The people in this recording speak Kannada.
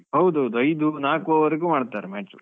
ಹೌದು ಹೌದು ಹೌದು. ಐದು ನಾಲ್ಕು over ಗು ಮಾಡ್ತಾರೆ match .